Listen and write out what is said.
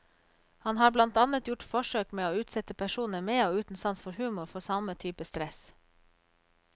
Han har blant annet gjort forsøk med å utsette personer med og uten sans for humor for samme type stress.